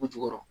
U jukɔrɔ